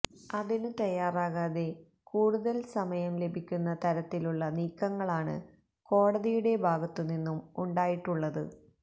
അതിനു തയ്യാറാകാതെ കൂടുതല് സമയം ലഭിക്കുന്ന തരത്തിലുള്ള നീക്കങ്ങളാണ് കോടതിയുടെ ഭാഗത്തു നിന്നും ഉണ്ടായിട്ടുള്ളത്